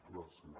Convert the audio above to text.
gràcies